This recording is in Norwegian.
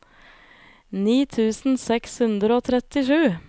ni tusen seks hundre og trettisju